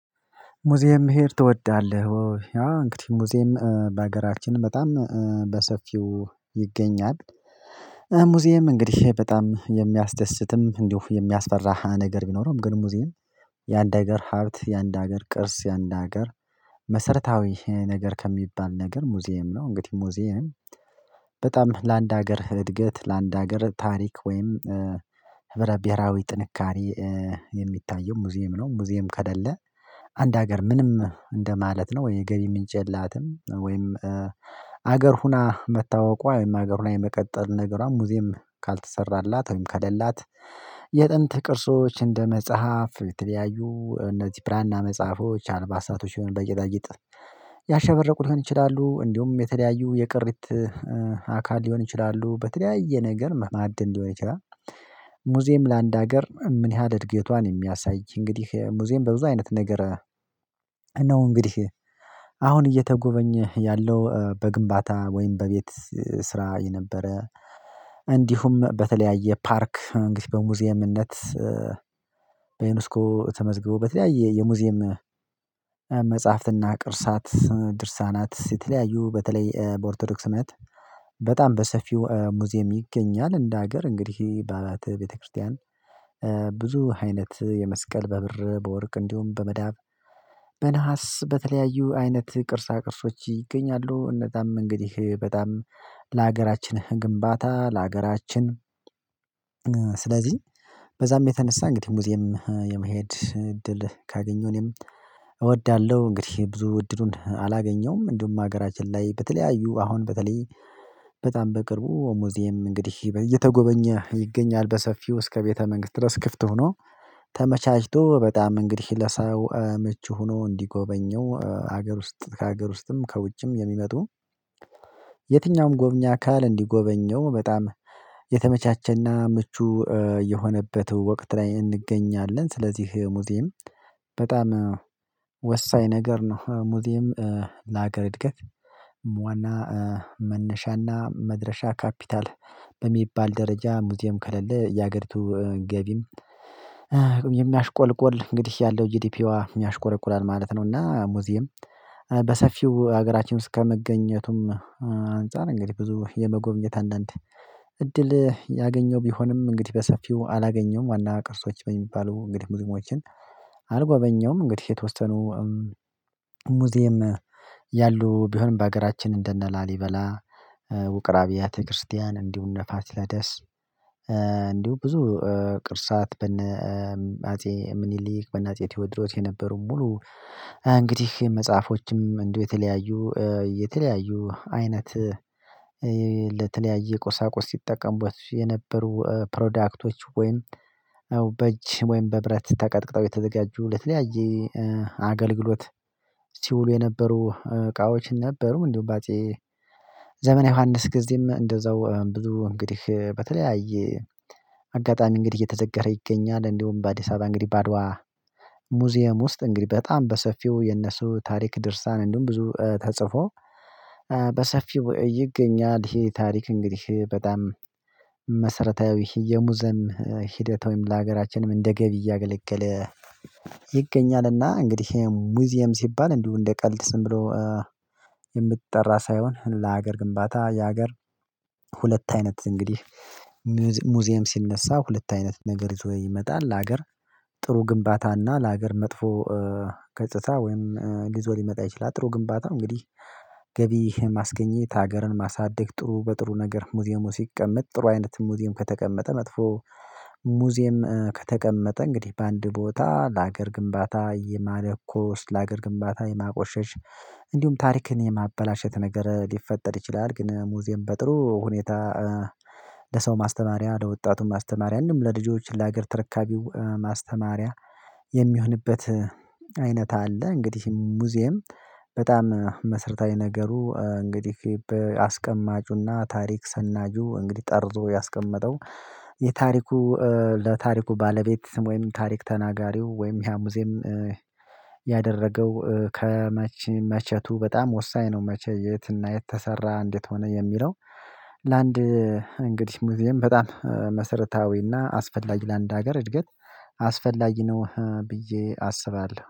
ሙዚየም መሄድ ትወዳለህ ወይ? እንግዲህ ሙዚየም በሀገራችን በጣም በሰፊው ይገኛል። ሙዚየም እንግዲህ በጣም የሚያስደስትም እንዲሁ የሚያስፈራ ነገር ቢኖረውም ግን ሙዚየም የአንድ አገር ሀብት የአንድ አገር ቅርስ የአንድ አገር መሰረታዊ ነገር ከሚባል ነገር ሙዚየም ነው። እንግዲህ ሙዚየም በጣም ለአንድ ሀገር እድገት ለአንድ ሀገር ታሪክ ወይም ህብረ ብሄራዊ ጥንካሬ የሚታየው ሙዚየም ነው። ሙዚየም ከሌለ አንድ ሀገር ምንም እንደማለት ነው ወይ የገቢ ምንጭ የላትም። ወይም ሀገር ሁና መታወቋ ወይም ሀገር ላይ መቀጠል ነገሯም ሙዚየም ካልተሰራላትም ከሌላት የጥንት ቅርሶች እንደ መጽሐፍ የተለያዩ እነዚህ ብራና መጽሐፎች አልባሳቶች ይሆን በጌጣጌጥ ያሸበረቁትን ይችላሉ እንዲሁም የተለያዩ የቅርት አካል ሊሆን ይችላሉ በተለያየ ነገር መዓድን ሊሆን ይችላል። ሙዚዬም ለአንድ ሀገር ምን ያህል እድገቷን የሚያሳይ እንግዲህ ሙዚየም በብዙ አይነት ነገር። እንግዲህ አሁን እየተጎበኘህ ያለው በግንባታ ወይም በቤት ስራ የነበረ እንዲሁም በተለያየ ፓርክ እንግዲህ በሙዚየምነት በዩኔስኮ ተመዝግቦ በተለያየ የሙዚየም መጽሐፍትና ቅርሳት ድርሳናት የተለያዩ በተለይ በኦርቶዶክስነት በጣም በሰፊው ሙዚየም ይገኛል። እንደ ሀገር እንግዲህ በአብያተ ቤተክርስቲያን ብዙ አይነት የመስቀል በብር በወርቅ እንዲሁም በመዳብ በነሃስ በተለያዩ አይነት ቅርሳ ቅርሶች ይገኛሉ። እነዛም እንግዲህ በጣም ለሀገራችን ግንባታ ለሀገራችን ስለዚህ በዛም የተነሳ እንግዲህ ሙዚየም የመሄድ እድል ካገኘሁ እኔም እወዳለሁ። እንግዲህ ብዙ እድሉን አላገኘሁም። እንዲሁም ሀገራችን ላይ በተለያዩ አሁን በተለይ በጣም በቅርቡ ሙዚየም እንግዲህ እየተጎበኘ ይገኛል በሰፊው እስከ ቤተ መንግስት ድረስ ክፍት ሆኖ ተመቻችቶ በጣም እንግዲህ ለሰው ምቹ ሆኖ ሀገር ውስጥ ከሀገር ውስጥም ከውጭም የሚመጡ የትኛውም ጎብኝ አካል እንዲጎበኘው በጣም የተመቻቸና ምቹ የሆነበት ወቅት ላይ እንገኛለን። ስለዚህ ሙዚየም በጣም ወሳኝ ነገር ነው። ሙዚየም ለሀገር እድገት ዋና መነሻና መድረሻ ካፒታል በሚባል ደረጃ ሙዚየም ከሌለ የሀገሪቱ ገቢም የሚያሽቆለቁል እንግዲህ ያለው ጂዲፒዋ ያሽቆረቁላል ማለት ነው። እና ሙዚየም በሰፊው ሀገራችን ውስጥ ከመገኘቱም አንፃር እንግዲህ ብዙ የመጎብኘት አንዳንድ እድል ያገኘው ቢሆንም እንግዲህ በሰፊው አላገኘውም ዋና ቅርሶች በሚባሉ እንግዲህ ሙዚቃዎችን አልጎበኘሁም። እንግዲህ የተወሰኑ ሙዚየም ያሉ ቢሆንም በሀገራችን እንደነ ላሊበላ ውቅር አብያተ ክርስቲያን እንዲሁ እነ ፋሲለደስ እንዲሁ ብዙ ቅርሳት በነ አጼ ምኒሊክ በነ አጼ ቴዎድሮት የነበሩ ሙሉ እንግዲህ መጽሐፎችም እንደው የተለያዩ የተለያዩ አይነት ለተለያየ ቁሳቁስ ሲጠቀሙት የነበሩ ፕሮዳክቶች ወይም በእጅ ወይም በብረት ተቀጥቅጠው የተዘጋጁ ለተለያየ አገልግሎት ሲውሉ የነበሩ እቃዎችን ነበሩ እንዲሁም በአጼ ዘመነ ዮሐንስ ጊዜም እንደዛው ብዙ እንግዲህ በተለያየ አጋጣሚ እንግዲህ እየተዘከረ ይገኛል። እንደውም በአዲስ አበባ እንግዲህ ባድዋ ሙዚየም ውስጥ እንግዲህ በጣም በሰፊው የነሱ ታሪክ ድርሳን እንደውም ብዙ ተጽፎ በሰፊው ይገኛል። ይሄ ታሪክ እንግዲህ በጣም መሰረታዊ የሙዚየም ሂደት ወይም ለሀገራችንም እንደ ገቢ እያገለገለ ይገኛልና። እንግዲህ ሙዚየም ሲባል እንዲሁ እንደ ቀልድ ዝም ብሎ የምትጠራ ሳይሆን ለሀገር ግንባታ የሀገር ሁለት አይነት እንግዲህ ሙዚየም ሲነሳ ሁለት አይነት ነገር ይዞ ይመጣል። ለሀገር ጥሩ ግንባታና ለሀገር መጥፎ ገጽታ ወይም ይዞ ሊመጣ ይችላል። ጥሩ ግንባታ እንግዲህ ገቢ ማስገኘት ሀገርን ማሳደግ ጥሩ በጥሩ ነገር ሙዚየሙ ሲቀመጥ ጥሩ አይነት ሙዚየም ከተቀመጠ መጥፎ ሙዚየም ከተቀመጠ እንግዲህ በአንድ ቦታ ለሀገር ግንባታ የማለኮስ ለሀገር ግንባታ የማቆሸሽ እንዲሁም ታሪክን የማበላሸት ነገር ሊፈጠር ይችላል። ግን ሙዚየም በጥሩ ሁኔታ ለሰው ማስተማሪያ ለወጣቱ ማስተማሪያ ምንም ለልጆች ለሀገር ተረካቢው ማስተማሪያ የሚሆንበት አይነት አለ። እንግዲህ ሙዚየም በጣም መሰረታዊ ነገሩ እንግዲህ አስቀማጩና ታሪክ ሰናጁ እንግዲህ ጠርዞ ያስቀመጠው የታሪኩ ለታሪኩ ባለቤት ወይም ታሪክ ተናጋሪው ወይም ያሙዜም ያደረገው ከመቼ መቸቱ በጣም ወሳኝ ነው። መቼ የትና የት ተሰራ እንዴት ሆነ የሚለው ለአንድ እንግዲህ ሙዚየም በጣም መሰረታዊና አስፈላጊ ለአንድ ሀገር እድገት አስፈላጊ ነው። ብዬ አስባለሁ